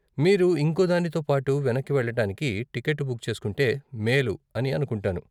మీరు ఇంకో దానితో పాటు వెనక్కి వెళ్ళటానికి టికెట్టు బుక్ చేసుకుంటే మేలు అని అనుకుంటాను.